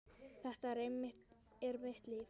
Þetta er mitt líf.